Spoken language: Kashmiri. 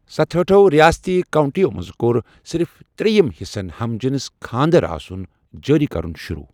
ستَہٲٹھو ریٲستی کاونٛٹِیو منٛزٕ كور صرف ترٛیٚیم حِصَن ہم جنس خانٛدر آسن جٲری کرُن شروٗع ۔